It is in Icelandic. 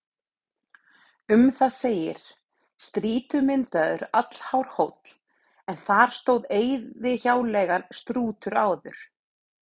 Um það segir: Strýtumyndaður, allhár hóll, en þar stóð eyðihjáleigan Strútur áður.